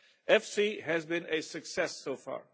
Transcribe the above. EFSI has been a success so far.